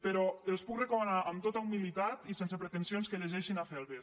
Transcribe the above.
però els puc recomanar amb tota humilitat i sense pretensions que llegeixin felber